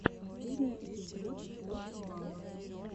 последний эпизод пост малон